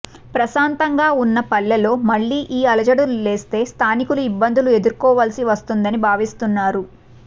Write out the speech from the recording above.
ప్రశాతంగా ఉన్న పల్లెల్లో మళ్లీ ఈ అలజడులు లేస్తే స్థానికులు ఇబ్బందులు ఎదుర్కోవలసి వస్తుందని భావిస్తున్నారు